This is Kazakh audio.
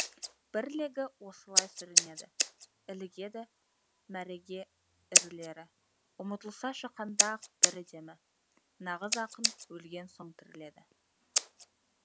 бір легі осылай сүрінеді ілігеді мәреге ірілері ұмытылса шыққанда ақ бірі демі нағыз ақын өлген соң тіріледі